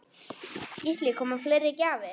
Gísli: Koma fleiri gjafir?